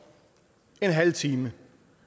en halv time